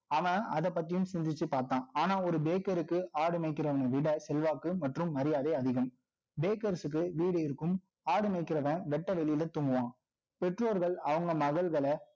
அவன் அதைப் பத்தியும், சிந்திச்சு பார்த்தான். ஆனா, ஒரு Bakers ஆடு மேய்க்கிறவனை விட, செல்வாக்கு மற்றும் மரியாதை அதிகம். Bakers க்கு, வீடு இருக்கும். ஆடு மேய்க்கிறவன், வெட்ட வெளியில தூங்குவான் பெற்றோர்கள், அவங்க மகள்களை